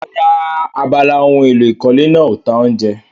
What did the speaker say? Rárá, abala ohun èlò ìkọ́lé náà ò ta oúnjẹ.